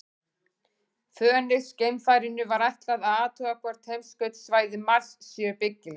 Fönix-geimfarinu var ætlað að athuga hvort heimskautasvæði Mars séu byggileg.